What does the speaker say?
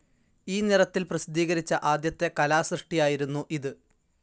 ഈ നിറത്തിൽ പ്രസിദ്ധീകരിച്ച ആദ്യത്തെ കലാസൃഷ്ടിയായിരുന്നു ഇത്.